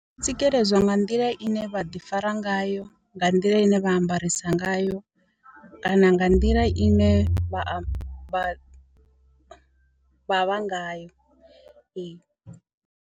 Tsikeledzwa nga nḓila ine vha ḓi fara ngayo nga nḓila ine vha ambarisa ngayo kana nga nḓila ine vha vha vha vha ngayo.